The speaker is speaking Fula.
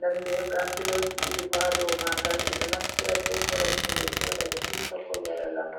den ndah ha bepiloji ɗiɗi bo hadoo magal ɓeɗo naftira be koromje be joɗa ɓe siwta ko ɓe waɗe lamar.